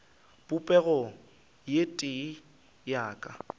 popego ye tee ya ka